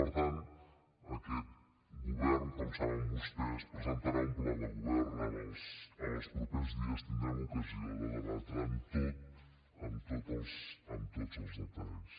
per tant aquest govern com saben vostès presentarà un pla de govern en els propers dies tindrem ocasió de debatre amb tots amb tots els detalls